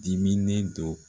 Diminen do